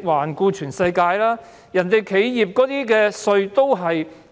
環顧全世界，企業稅率也是